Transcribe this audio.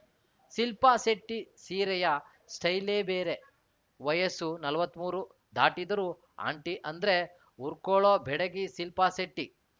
ಶಿಲ್ಪಾ ಶೆಟ್ಟಿಸೀರೆಯ ಸ್ಟೈಲೇ ಬೇರೆ ವಯಸ್ಸು ನಲವತ್ತ್ ಮೂರು ದಾಟಿದರೂ ಆಂಟಿ ಅಂದ್ರೆ ಉರ್ಕೊಳ್ಳೋ ಬೆಡಗಿ ಶಿಲ್ಪಾ ಶೆಟ್ಟಿ